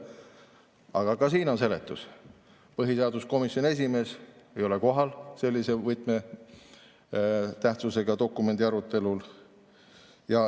Aga ka sellele on seletus: põhiseaduskomisjoni esimees ei olnud kohal sellise võtmetähtsusega dokumendi arutelul.